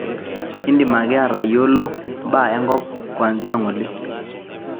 indim ake atayolo mbaa enkop kwanzia ngole